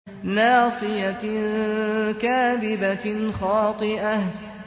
نَاصِيَةٍ كَاذِبَةٍ خَاطِئَةٍ